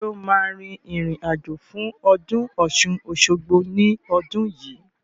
Sọ ma rìn rìn àjò fún ọdún Ọ̀ṣun-Òṣogbo ní ọdún yìí?